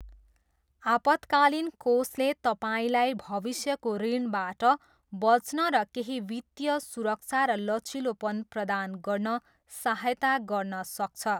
आपतकालीन कोषले तपाईँलाई भविष्यको ऋणबाट बच्न र केही वित्तीय सुरक्षा र लचिलोपन प्रदान गर्न सहायता गर्न सक्छ।